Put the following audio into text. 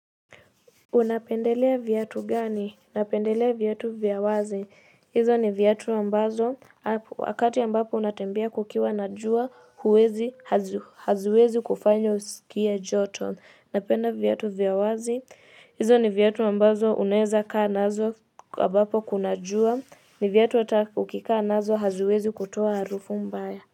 Unapendelea viatu gani? Napendelea viatu vya wazi. Hizo ni viatu ambazo wakati ambapo unatembea kukiwa na jua huwezi haziwezi kufanya usikie joto. Napenda viatu vya wazi. Hizo ni viatu ambazo unawezakaa nazo ambapo kuna jua ni viatu hata ukikaa nazo haziwezi kutoa harufu mbaya.